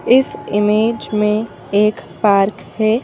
इस इमेज में एक पार्क है।